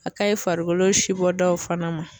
A ka ɲi farikolo si bɔ daw fana ma